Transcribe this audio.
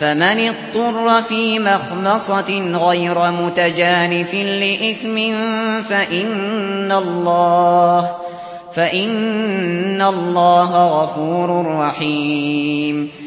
فَمَنِ اضْطُرَّ فِي مَخْمَصَةٍ غَيْرَ مُتَجَانِفٍ لِّإِثْمٍ ۙ فَإِنَّ اللَّهَ غَفُورٌ رَّحِيمٌ